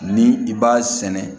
Ni i b'a sɛnɛ